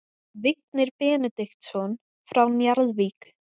Vignir Benediktsson frá Njarðvík